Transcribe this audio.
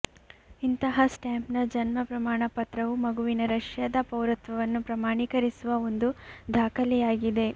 ಇಂತಹ ಸ್ಟಾಂಪ್ನ ಜನ್ಮ ಪ್ರಮಾಣಪತ್ರವು ಮಗುವಿನ ರಷ್ಯಾದ ಪೌರತ್ವವನ್ನು ಪ್ರಮಾಣೀಕರಿಸುವ ಒಂದು ದಾಖಲೆಯಾಗಿದೆ